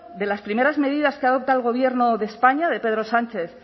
de las primeras medidas que ha adoptado el gobierno de españa de pedro sánchez